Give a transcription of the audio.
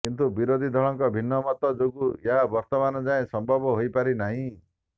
କିନ୍ତୁ ବିରୋଧୀଙ୍କ ଭିନ୍ନ ମତ ଯୋଗୁଁ ଏହା ବର୍ତ୍ତମାନ ଯାଏଁ ସମ୍ଭବ ହୋଇପାରି ନାହିଁ